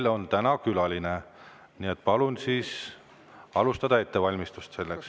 Meil on täna külaline, nii et palun alustada ettevalmistust selleks.